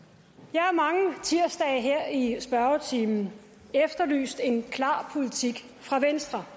jeg har mange tirsdage her i spørgetimen efterlyst en klar politik fra venstre